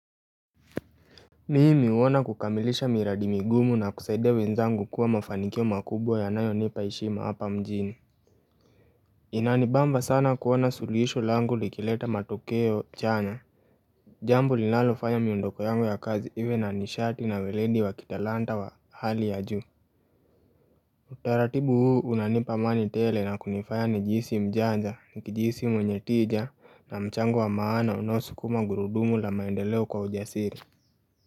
Mimi huona kukamilisha miradi migumu na kusaidia wenzangu kuwa mafanikio makubwa yanayonipa heshima hapa mjini Inanibamba sana kuona suluhisho langu likileta matokeo chanya Jambo linalofanya miondoko yangu ya kazi iwe na nishati na uledi wa kitalanta wa hali ya juu Utaratibu huu unanipa amani tele na kunifanya nijihisi mjanja, nikijihisi mwenye tija na mchango wa maana unaosukuma gurudumu la maendeleo kwa ujasiri.